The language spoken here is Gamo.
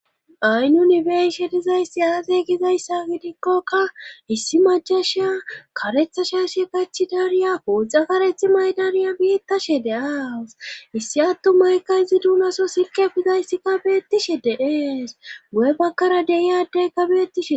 Ay nunibeyshe dizayssi aaze gizayssa gidikkokka issi macasha karetha shashe kachi dariya puuxa karethi maydaniya biittashe de'awus issi attumaykka izi duunaso silqe bizayssikka beettishe deees gu'e bakkara deiyadeyka beettishe